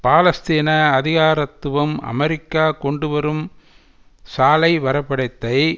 பாலஸ்தீன அதிகாரத்துவம் அமெரிக்கா கொண்டு வரும் சாலை வரை படத்தை